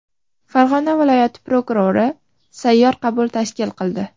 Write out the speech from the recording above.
Farg‘ona viloyat prokurori sayyor qabul tashkil qildi.